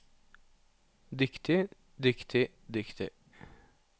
dyktig dyktig dyktig